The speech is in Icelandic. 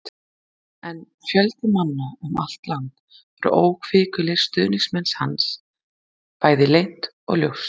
En fjöldi manna um allt land voru óhvikulir stuðningsmenn hans, bæði leynt og ljóst.